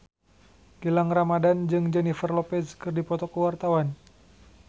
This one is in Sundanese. Gilang Ramadan jeung Jennifer Lopez keur dipoto ku wartawan